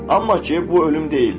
Amma ki, bu ölüm deyildi.